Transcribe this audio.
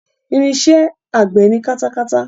Irinṣẹ́ àgbẹ̀ ni katakata.